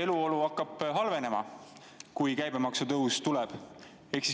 eluolu ikkagi hakkab halvenema, kui käibemaksu tõus tuleb.